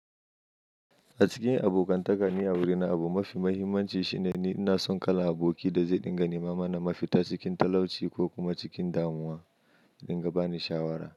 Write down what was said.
A cikin abokantaka, ni a wurina, abu mafi mahimmanci shine ni ina son kalan aboki da zai dinga ni mama na mafita cikin talauci ko kuma cikin damuwa, dinga bani shawara.